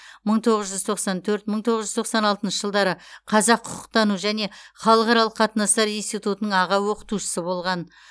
мың тоғыз жүз тоқсан төрт мың тоғыз жүз тоқсан алтыншы жылдары қазақ құқықтану және халықаралық қатынастар институтының аға оқытушысы болған